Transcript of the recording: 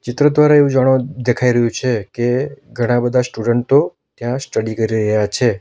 ચિત્ર દ્વારા એવું જાણવા દેખાય રહ્યું છે કે ઘણા બધા સ્ટુડન્ટો ત્યાં સ્ટડી કરી રહ્યા છે.